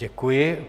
Děkuji.